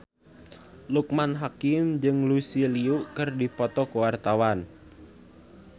Loekman Hakim jeung Lucy Liu keur dipoto ku wartawan